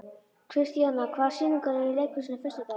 Kristíanna, hvaða sýningar eru í leikhúsinu á föstudaginn?